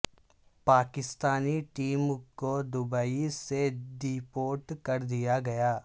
Pakistani team کو Dubai سے deport کر دیا گیا